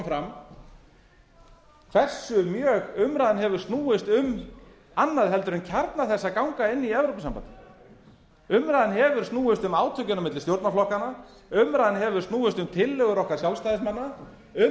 fram hversu mjög umræðan hefur snúist um annað heldur en kjarna þess að ganga inn í evrópusambandið umræðan hefur snúist um átökin milli stjórnarflokkana umræðan hefur snúist um tillögur okkar sjálfstæðismanna um